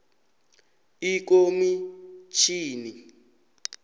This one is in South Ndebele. ikomitjhini